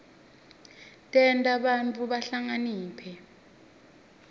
tenta bantfu bahlakaniphe